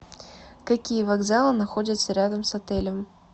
какие вокзалы находятся рядом с отелем